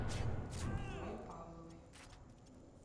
мигрой павловой